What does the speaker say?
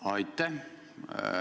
Aitäh!